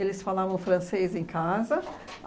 Eles falavam francês em casa.